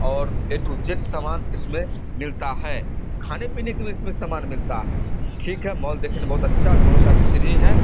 और A to Z सामान इसमें मिलता है। खाने पीने की भी इसमें सामान मिलता है। ठीक है! मॉल देखिन बोहोत अच्छा दोनों साइड से सीढ़ी है।